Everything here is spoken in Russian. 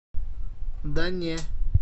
да не